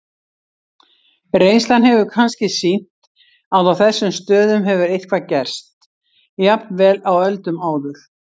Reynslan hefur kannski sýnt að á þessum stöðum hefur eitthvað gerst, jafnvel á öldum áður.